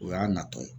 O y'a natɔ ye